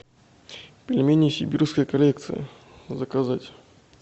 пельмени сибирская коллекция заказать